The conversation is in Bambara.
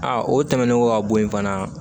Aa o tɛmɛnen kɔ ka bɔ yen fana